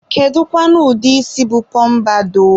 kedukwanu ụdị isi bụ pọmpadọ?